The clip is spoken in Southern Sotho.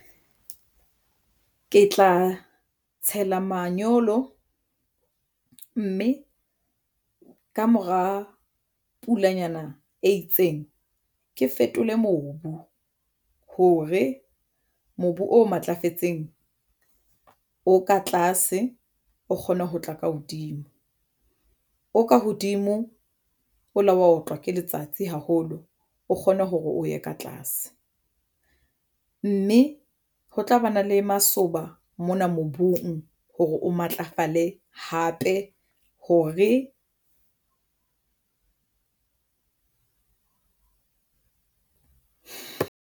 Ke tla tshela manyolo mme ka mora pulanyana e itseng ke fetole mobu hore mobu o matlafetseng o ka tlase o kgone ho tla ka hodimo o ka hodimo o lo wa otlwa ke letsatsi haholo o kgone hore o ye ka tlase mme ho tlabana le masoba mona mobung hore o matlafale hape hore.